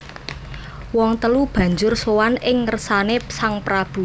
Wong telu banjur sowan ing ngarsané sang prabu